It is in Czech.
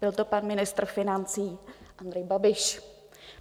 Byl to pan ministr financí Andrej Babiš.